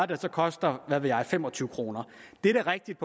det så koster hvad ved jeg fem og tyve kroner det er rigtigt